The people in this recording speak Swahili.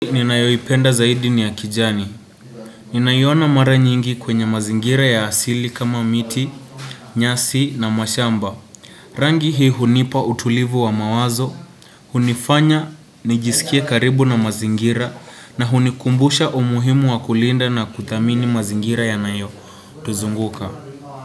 Ninayoipenda zaidi ni ya kijani. Ninaiona mara nyingi kwenye mazingira ya asili kama miti, nyasi na mashamba. Rangi hii hunipa utulivu wa mawazo. Hunifanya, nijisikie karibu na mazingira na hunikumbusha umuhimu wa kulinda na kuthamini mazingira yanayoyuzunguka.